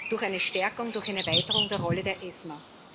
Durch eine Stärkung, durch eine Erweiterung der Rolle der ESMA.